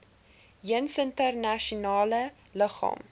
jeens internasionale liggame